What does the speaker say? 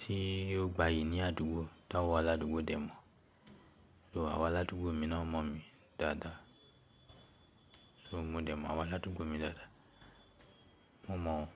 tí ó gbayì ní àdúgbò tá wá ládùúgbò dè mọ́. So awon aládùúgbò mi náà mọ̀ mí dáadáa. So mo dè mọ́ àwọn aládùúgbò mi dáadáa. Mo mọ̀ wọ́n.